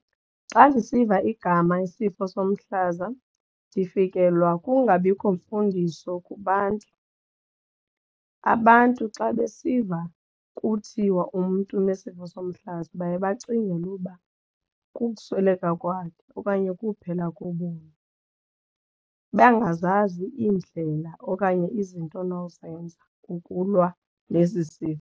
Xa ndisiva igama isifo somhlaza ndifikelwa kungabikho mfundiso kubantu. Abantu xa besiva kuthiwa umntu unesifo somhlaza baye bacingele uba kukusweleka kwakhe okanye kuphela kobomi bangazazi iindlela okanye izinto onozenza kukulwa nesi sifo.